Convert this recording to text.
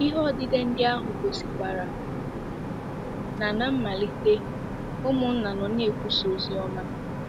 Ihe odide ndị ahụ gosikwara na ná mmalite, ụmụnna nọ na-ekwusa ozi ọma.